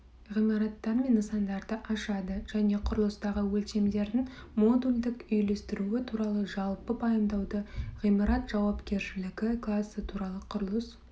ғимараттар мен нысандарды ашады және құрылыстағы өлшемдердің модульдік үйлестіруі туралы жалпы пайымдауды ғимарат жауапкершілігі класы туралы құрылыс